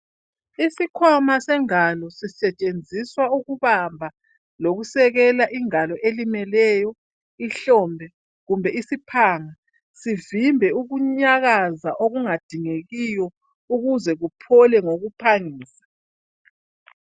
Isikhwana sengalo sisetshenziswa ukubamba lokusekela ingalo elimeleyo ihlombe kumbe isiphanga zimbe ukunyakaza okungadingekiyo ukuze kuphole ngokuphangisa.